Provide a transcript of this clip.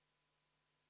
Andrei Korobeinik, palun!